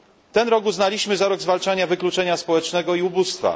Ten rok uznaliśmy za rok zwalczania wykluczenia społecznego i ubóstwa.